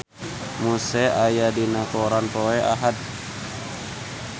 Muse aya dina koran poe Ahad